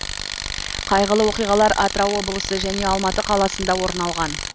қайғылы оқиғалар атырау облысы және алматы қаласында орын алған